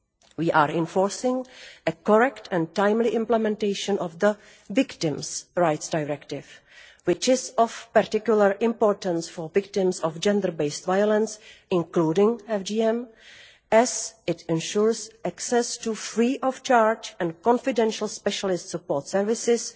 We are enforcing a correct and timely implementation of the Victims' Rights Directive, which is of particular importance for victims of gender based violence, including FGM, as it ensures access to free of charge and confidential specialist support services,